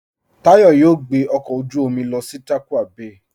Táyọ̀ yóò gbẹ ọkọ ojú omi lọ sí Tàkwa Bày